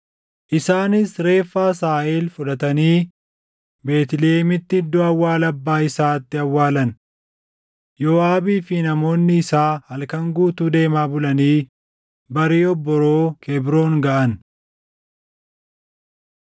Isaanis reeffa Asaaheel fudhatanii Beetlihemitti iddoo awwaala abbaa isaatti awwaalan. Yooʼaabii fi namoonni isaa halkan guutuu deemaa bulanii barii obboroo Kebroon gaʼan.